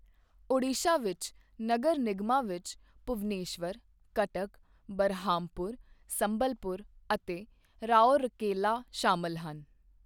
ਓਡੀਸ਼ਾ ਵਿੱਚ ਨਗਰ ਨਿਗਮਾਂ ਵਿੱਚ ਭੁਵਨੇਸ਼ਵਰ, ਕਟਕ, ਬਰਹਾਮਪੁਰ, ਸੰਬਲਪੁਰ ਅਤੇ ਰਾਉਰਕੇਲਾ ਸ਼ਾਮਲ ਹਨ।